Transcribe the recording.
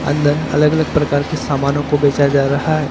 अंदर अलग अलग प्रकार के सामानों को बेचा जा रहा है।